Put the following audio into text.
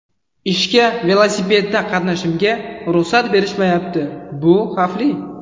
Ishga velosipedda qatnashimga ruxsat berishmayapti bu xavfli.